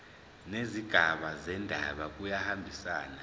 nezigaba zendaba kuyahambisana